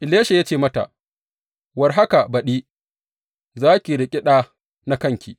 Elisha ya ce mata, War haka baɗi, za ki riƙe ɗa na kanki.